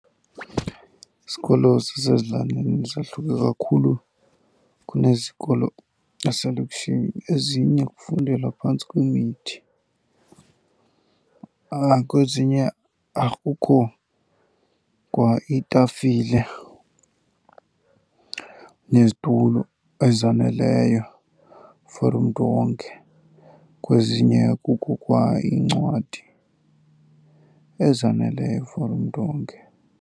Izikolo zasezilalini zahluke kakhulu kunezikolo zaselokishini. Ezinye kufundelwa phantsi kwemithi, kwezinye akukho kwa iitafile nezitulo ezaneleyo for umntu wonke, kwezinye akukho kwa iincwadi ezaneleyo for umntu wonke.